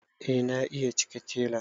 eh na iya cike tela